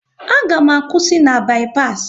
A ga m akwụsị na bi-pas